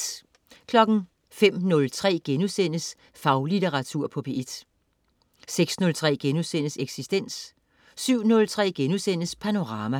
05.03 Faglitteratur på P1* 06.03 Eksistens* 07.03 Panorama*